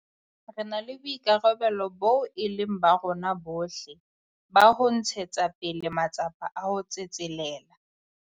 Re na le boikarabelo boo e leng ba rona bohle ba ho ntshetsa pele matsapa a ho tsetselela.